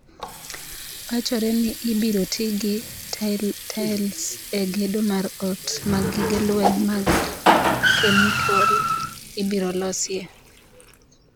Wachore ne ibiro ti gi taels e gedo mar ot ma gige lweny mag kemikol ibiro losie